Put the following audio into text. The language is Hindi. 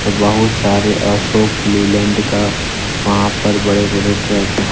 बहुत सारे अशोक लीलैंड का वहां पर बड़े बड़े ट्रक --